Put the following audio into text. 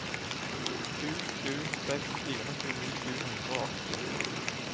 sju sju seks fire tjueni sju hundre og åtti